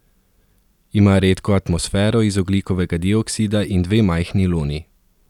Ima redko atmosfero iz ogljikovega dioksida in dve majhni luni.